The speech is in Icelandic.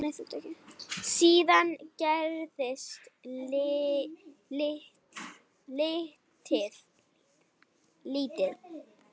Síðan gerist lítið.